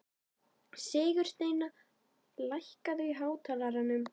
Sigursteina, lækkaðu í hátalaranum.